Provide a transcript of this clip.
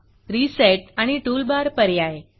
reset आणि tool Barटूल bar पर्याय